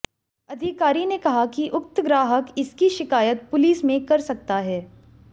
अधिकारी ने कहा कि उक्त ग्राहक इसकी शिकायत पुलिस में कर सकता है